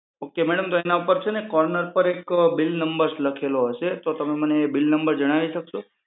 Ok madam તો એના પર છે ને કોર્નર પર એક બિલ નંબર લખેલો હશે તો તમે મને એ બિલ નંબર જણાવી શકશો?